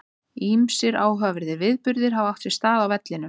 Ýmsir áhugaverðir viðburðir hafa átt sér stað á vellinum.